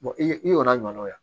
i ye i ɲɔgɔnnaw ye